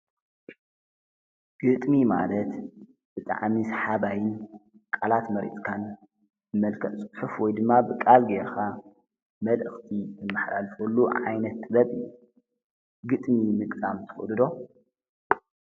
ግጥሚ ማለት ብጣዕሚ ሰሓባይን ቃላት መሪፅካን ብመልክዕ ፅሑፍ ወይ ድማ ብቃል ጌርካ መልእክቲ እተመሓላልፈሉ ዓይነት ጥበብ እዩ፡፡ ግጥሚ ምግጣም ትክእሉ ዶ?